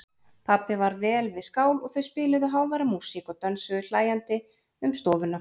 Pabbi var vel við skál og þau spiluðu háværa músík og dönsuðu hlæjandi um stofuna.